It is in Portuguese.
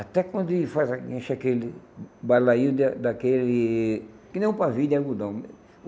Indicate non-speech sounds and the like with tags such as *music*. Até quando e faz *unintelligible* enche aquele balainho de a daquele, que nem um pavio de algodão.